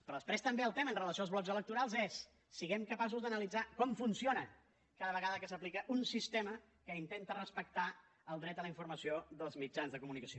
però després també el tema amb relació als blocs electorals és siguem capaços d’analitzar com funciona cada vegada que s’aplica un sistema que intenta respectar el dret a la informació dels mitjans de comunicació